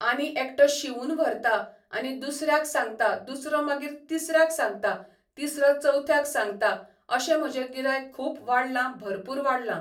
आनी एकटो शिंवून व्हरता आनी दुसऱ्यांक सांगता दुसरो मागीर तिसऱ्यांक सांगता तिसरो चवथ्याक सांगता अशें म्हजें गिरायक खूब वाडला भरपूर वाडला